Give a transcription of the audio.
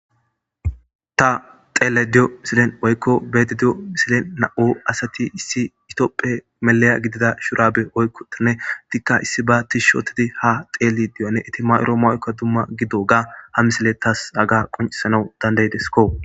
ta xeelayda diyo misilen woykko be7ayda diyo misilen na7u asati issi itopphe melaya gidida shurabe oykkotenne tikka issi ba ti shootidi ha xeeli di7onne itima7oro ma7okka dumma gidoga ha misile tas aga qoncisanau dandaydesko.